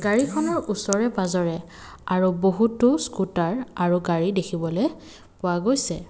গাড়ীখনৰ ওচৰে পাজৰে আৰু বহুতো স্কুটাৰ আৰু গাড়ী দেখিবলৈ পোৱা গৈছে।